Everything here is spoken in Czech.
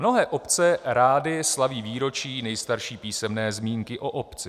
Mnohé obce rády slaví výročí nejstarší písemné zmínky o obci.